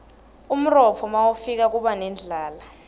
umrotfo nawifika kiba nendlala